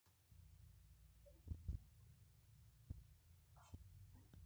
kesaaja iyieu nipuku te rumu nairurareki